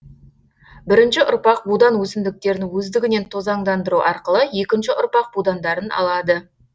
бірінші ұрпақ будан өсімдіктерін өздігінен тозаңдандыру арқылы екінші ұрпақ будандарын алады